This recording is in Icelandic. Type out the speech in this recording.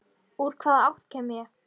Úr hvaða átt ég kem.